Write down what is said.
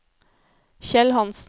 Kjell Hanssen